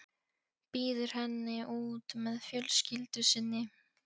Býður henni út með fjölskyldu sinni.